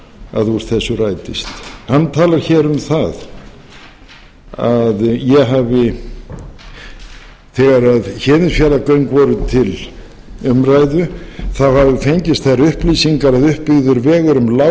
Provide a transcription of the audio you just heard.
að úr þessu rætist hann talar um það að ég hafi þegar héðinsfjarðargöng voru til umræðu þá hafi fengist þær upplýsingar að uppbyggður vegur um lágheiði mundi líklega verða